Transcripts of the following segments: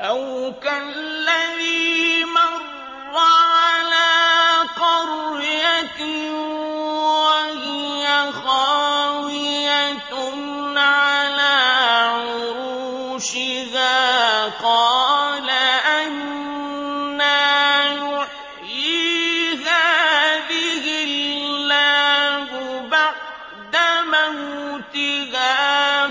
أَوْ كَالَّذِي مَرَّ عَلَىٰ قَرْيَةٍ وَهِيَ خَاوِيَةٌ عَلَىٰ عُرُوشِهَا قَالَ أَنَّىٰ يُحْيِي هَٰذِهِ اللَّهُ بَعْدَ مَوْتِهَا ۖ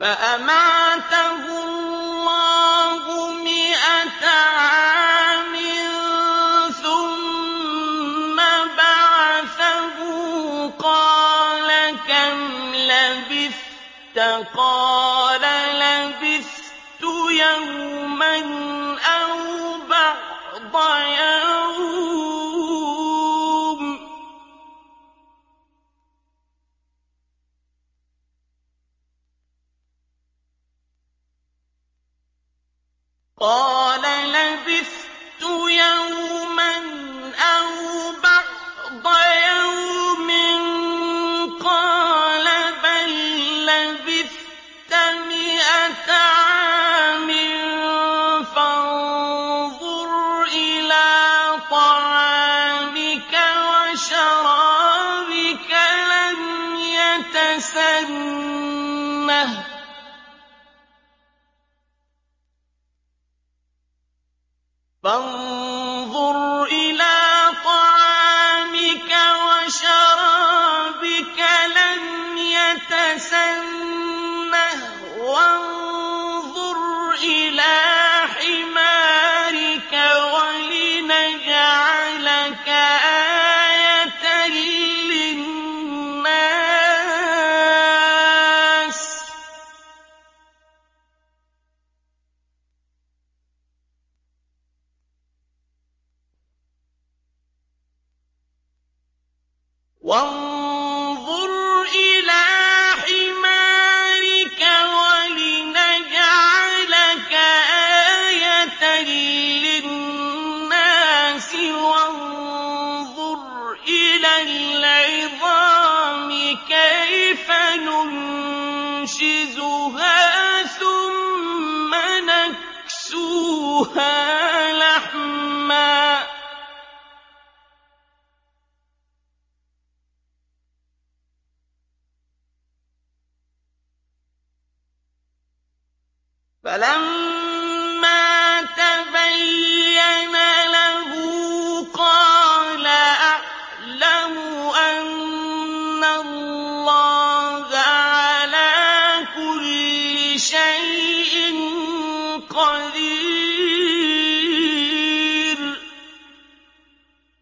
فَأَمَاتَهُ اللَّهُ مِائَةَ عَامٍ ثُمَّ بَعَثَهُ ۖ قَالَ كَمْ لَبِثْتَ ۖ قَالَ لَبِثْتُ يَوْمًا أَوْ بَعْضَ يَوْمٍ ۖ قَالَ بَل لَّبِثْتَ مِائَةَ عَامٍ فَانظُرْ إِلَىٰ طَعَامِكَ وَشَرَابِكَ لَمْ يَتَسَنَّهْ ۖ وَانظُرْ إِلَىٰ حِمَارِكَ وَلِنَجْعَلَكَ آيَةً لِّلنَّاسِ ۖ وَانظُرْ إِلَى الْعِظَامِ كَيْفَ نُنشِزُهَا ثُمَّ نَكْسُوهَا لَحْمًا ۚ فَلَمَّا تَبَيَّنَ لَهُ قَالَ أَعْلَمُ أَنَّ اللَّهَ عَلَىٰ كُلِّ شَيْءٍ قَدِيرٌ